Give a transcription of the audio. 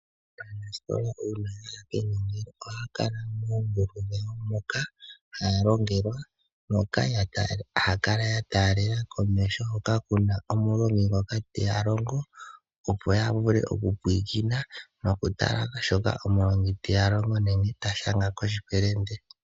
Aanasikola uuna ya ya kenongelo ohaya kala moongulu dhawo moka haya longelwa moka haya kala ya taalela komeho hoka kuna omulongi ngoka teya longo, opo ya vule oku pwiikina noku tala shoka omulongi ta longo nenge ta shanga koshipelende.